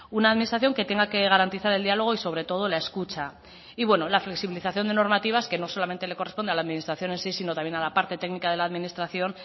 una administración que tenga que garantizar el diálogo y sobre todo la escucha y bueno la flexibilización de normativas que no solamente le corresponde a la administración en sí sino también a la parte técnica de la administración